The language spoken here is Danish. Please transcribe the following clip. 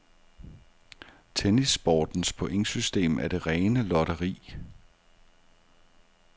Tennissportens pointsystem er det rene lotteri.